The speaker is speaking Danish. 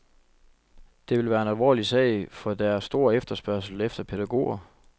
Det vil være en alvorlig sag, for der er stor efterspørgsel efter pædagoger.